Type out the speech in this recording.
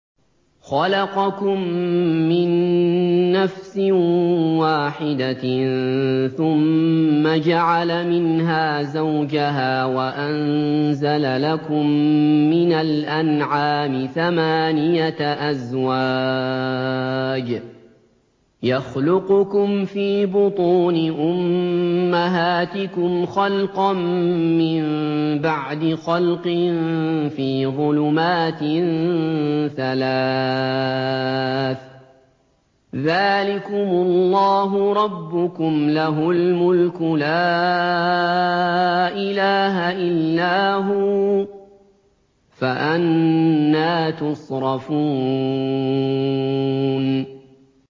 خَلَقَكُم مِّن نَّفْسٍ وَاحِدَةٍ ثُمَّ جَعَلَ مِنْهَا زَوْجَهَا وَأَنزَلَ لَكُم مِّنَ الْأَنْعَامِ ثَمَانِيَةَ أَزْوَاجٍ ۚ يَخْلُقُكُمْ فِي بُطُونِ أُمَّهَاتِكُمْ خَلْقًا مِّن بَعْدِ خَلْقٍ فِي ظُلُمَاتٍ ثَلَاثٍ ۚ ذَٰلِكُمُ اللَّهُ رَبُّكُمْ لَهُ الْمُلْكُ ۖ لَا إِلَٰهَ إِلَّا هُوَ ۖ فَأَنَّىٰ تُصْرَفُونَ